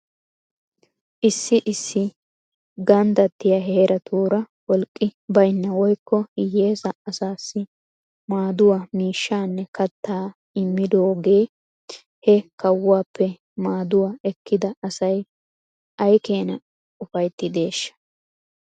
Issi issi ganddattiyaa heeratuura wolqqi baynna woykko hiyeesa asaasi maaduwaa miishshaanne kattaa immidooga he kawuwaappe mmaduwaa ekkida asay aykeenaa ufayttideeshsha?